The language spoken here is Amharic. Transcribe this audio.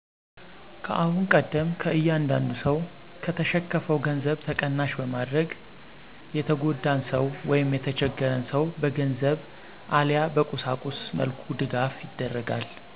ከአሁን ቀደም ከእያንዳዱ ሰው ከተሸከፋው ገንዘብ ተቀናሽ በማድረግ የተጎዳን ሰው ወይም የተቸገርን ሰው በገንዘብ አለያ በቁሳቁስ መልኩ ድጋፍ ይደርጋል።